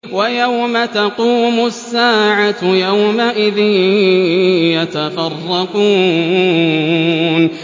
وَيَوْمَ تَقُومُ السَّاعَةُ يَوْمَئِذٍ يَتَفَرَّقُونَ